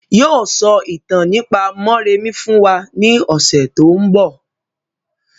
Yii o sọ ìtàn nípa mọ́remí fún wa ní ọ̀sẹ̀ tòun bọ̀.